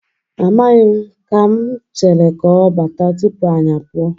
Amaghi m. Ka m chere ka ọ bata tupu anyị apụọ.